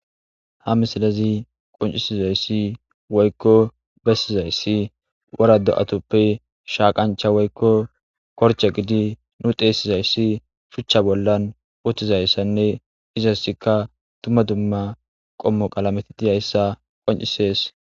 ha misilazi qoncisizayssi woykko bessizayssi wara do7atoppe shaaqancha woykko korcha gidi nu deesizayssi phuchcha bollan uttizayssanne izosikka tumma dumma qommo qalameti diyayssa qoncisees